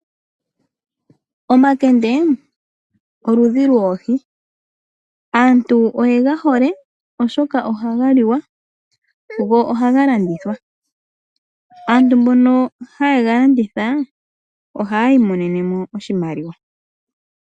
Omakende, oludhi loohi. Aantu oye ga hole oshoka oha ga liwa, go aha ga landithwa. Aantu mboka ha ye ga landitha oha ya imonene mo oshimaliwa.